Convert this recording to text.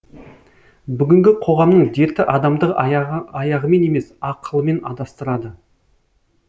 бүгінгі қоғамның дерті адамды аяғымен емес ақылымен адастырады